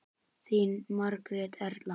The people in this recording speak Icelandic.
Þín Margrét Erla.